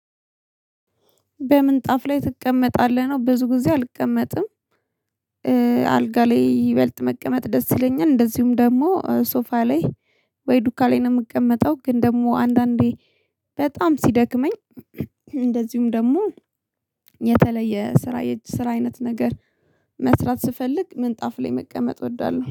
በምንጣፍ ላይ ትቀመጣለህ ነው? ብዙ ጊዜ አልቀመጥም። አልጋ ላይ ይበልጥ መቀመጥ ደስ ይለኛል እንደዚሁም ደግሞ ሶፋ ላይ ወይ ዱካ ላይ ነው የምቀመጠው። ግን ደግሞ አንዳንዴ በጣም ሲደክመኝ እንደዚሁም ደግሞ የተለየ ስራ የእጅ ስራ አይነት ነገር መስራት ስፈልግ ምንጣፍ ላይ መቀመጥ እወዳለሁ።